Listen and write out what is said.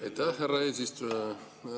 Aitäh, härra eesistuja!